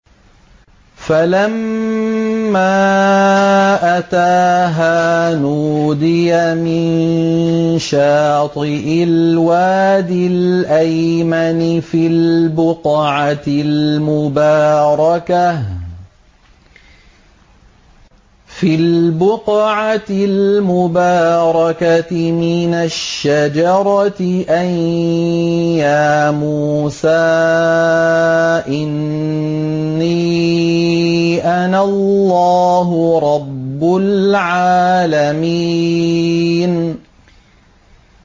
فَلَمَّا أَتَاهَا نُودِيَ مِن شَاطِئِ الْوَادِ الْأَيْمَنِ فِي الْبُقْعَةِ الْمُبَارَكَةِ مِنَ الشَّجَرَةِ أَن يَا مُوسَىٰ إِنِّي أَنَا اللَّهُ رَبُّ الْعَالَمِينَ